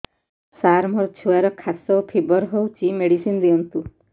ସାର ମୋର ଛୁଆର ଖାସ ଓ ଫିବର ହଉଚି ମେଡିସିନ ଦିଅନ୍ତୁ